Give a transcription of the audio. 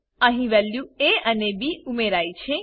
અહી value A અને B ઉમેરાઈ છે